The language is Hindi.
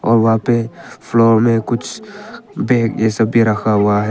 और वहां पे फ्लोर में कुछ बैग ये सब भी रखा हुआ है।